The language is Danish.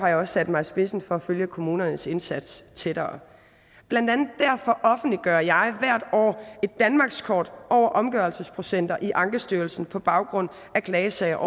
jeg også sat mig i spidsen for at følge kommunernes indsats tættere blandt andet derfor offentliggør jeg hvert år et danmarkskort over omgørelsesprocenter i ankestyrelsen på baggrund af klagesager